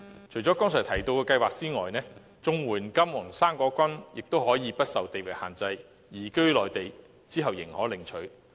除了剛才提到的計劃外，綜合社會保障援助亦可以不受地域限制，在移居內地後領取。